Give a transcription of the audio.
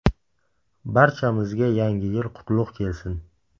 Barchamizga yangi yil qutlug‘ kelsin!